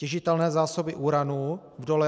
Těžitelné zásoby uranu v dole